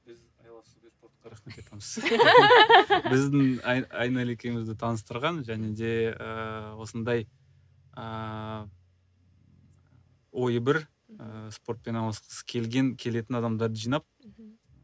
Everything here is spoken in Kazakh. біздің айнель екеумізді таныстырған және де ыыы осындай ыыы ойы бір ыыы спортпен айналысқысы келген келетін адамдарды жинап мхм